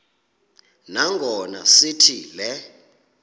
nangona sithi le